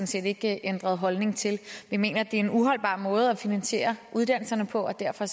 set ikke ændret holdning til vi mener det er en uholdbar måde at finansiere uddannelserne på og derfor